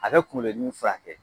A be kunkolo dimi furakɛ.